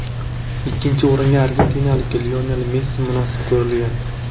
Ikkinchi o‘ringa argentinalik Lionel Messi munosib ko‘rilgan.